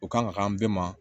O kan ka kan an bɛɛ ma